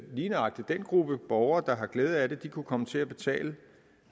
lige nøjagtig den gruppe af borgere der har glæde af det kunne komme til at betale